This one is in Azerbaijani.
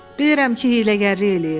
Bilirəm ki, hiyləgərlik eləyir.